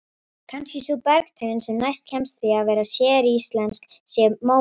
Kannski sú bergtegund sem næst kemst því að vera séríslensk sé móbergið.